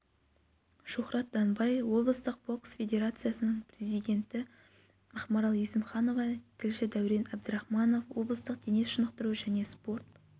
шухрат данбай облыстық бокс федерациясының президенті ақмарал есімханова тілші дәурен әбдірахманов облыстық дене шынықтыру және спорт